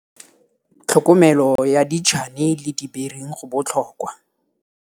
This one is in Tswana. Setshwantsho sa 2. Tlhokomelo ya ditšhane le dibering go botlhokwa.